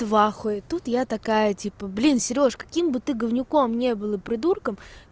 в ахуе тут я такая типа блин серёж каким бы ты говнюком не был и придурком